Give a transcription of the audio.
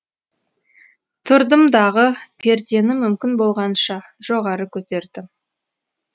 тұрдым дағы пердені мүмкін болғанша жоғары көтердім